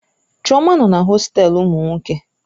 Chioma nọ na hostelu ụmụ nwoke.